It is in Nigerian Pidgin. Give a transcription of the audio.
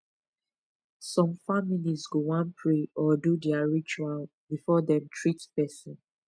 some families go wan pray or do their ritual before dem treat person